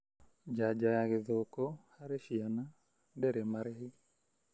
Janjo ya gĩthũkũ harĩ ciana ndĩrĩ marĩhi.